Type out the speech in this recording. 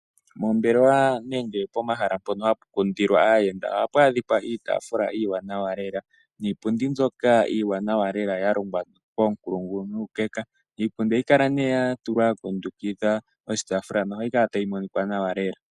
Moombelewa nenge pomahala mpono hapu popithilwa aayenda ohapu adhikwa iitaafula iiwanawa lela niipundi mbyoka iiwanawa lela ya longwa koonkulungu nuukeka. Iipundi ohayi kala nee yatulwa po ya kundukidha oshitaafula nohayi kala tayi monika nawa lela.